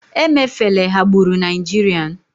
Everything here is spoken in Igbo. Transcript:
emefele ghagburu nigerian